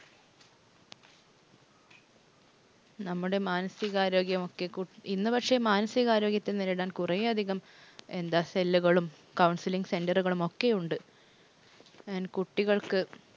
നമ്മുടെ മാനസിക ആരോഗ്യമൊക്കെ, കുട്ടി ഇന്ന് പക്ഷെ മാനസിക ആരോഗ്യത്തെ നേരിടാൻ കുറെ അധികം എന്താ cell ഉകളും, counseling center കളുമൊക്കെയുണ്ട്. കുട്ടികൾക്ക്